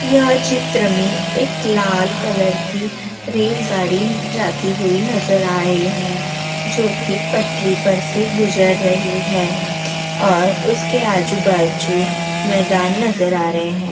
यह चित्र में एक लाल कलर की रेल गाड़ी जाती हुई नजर आ रही है जोकि पटरी पर से गुजर रही है और उस के आजू बाजू मैदान नजर आ रहे है।